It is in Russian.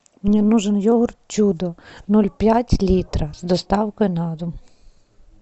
мне нужен йогурт чудо ноль пять литра с доставкой на дом